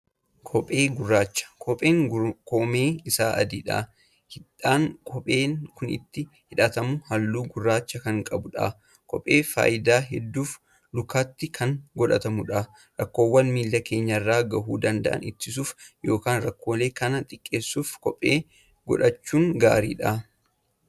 Kophee gurraachadha. kopheen Kun koomeen Isaa adiidha. hidhaan kopheen kuninittin hidhatamu halluu gurraacha Kan qabuudha. kopheen faayidaa hedduuf lukaatti Kan godhatamuudha. rakkoowwan miila keenyarra gahuu danda'an ittisuuf yookaan rakkoolee Kan xiqqeessuuf kophee godhachuun gaaridha.